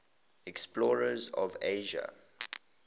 explorers of asia